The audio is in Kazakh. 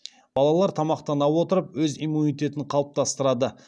балалар тамақтана отырып өз иммунитетін қалыптастырады